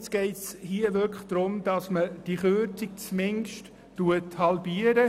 Hier geht es wirklich darum, diese Kürzung zumindest zu halbieren.